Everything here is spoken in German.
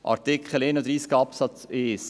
In Artikel 31, Absatz 1 steht: